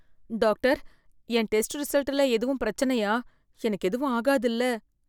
Doctor, என் test ரிசல்ட்ல எதுவும் பிரச்சனையா? எனக்கு எதுவும் ஆகாதுல்ல?